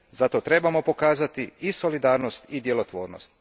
Zato trebamo pokazati i solidarnost i djelotvornost.